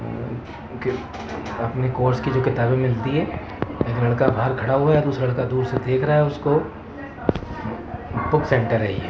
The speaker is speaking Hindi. अह ओके अपने कोर्स के लिए किताबें मिलती हैं एक लड़का बाहर खड़ा हुआ है और दूसरा लड़का दूर से देख रहा है उसको बुक सेंटर है ये।